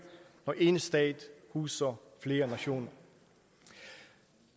når én stat huser flere nationer